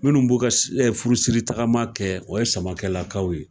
Minnu b'o ka si furusiri tagama kɛ o ye samakelakaw ye